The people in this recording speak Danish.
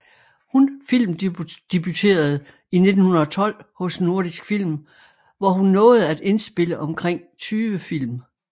Hun filmdebuterede i 1912 hos Nordisk Film hvor hun nåede at indspille omkring 20 film